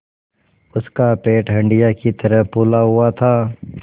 उसका पेट हंडिया की तरह फूला हुआ था